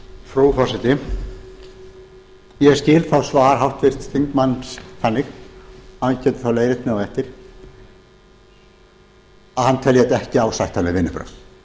frú forseti ég skil þá svar háttvirts þingmanns þannig hann getur þá leiðrétt mig á eftir að hann telji þetta ekki ásættanleg vinnubrögð